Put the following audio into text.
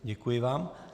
Děkuji vám.